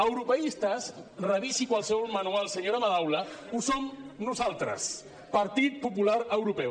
europeistes revisi qualsevol manual senyora madaula ho som nosaltres partit popular europeu